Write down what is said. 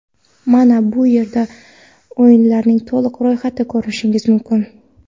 Mana bu yerda o‘yinlarning to‘liq ro‘yxatini ko‘rish mumkin.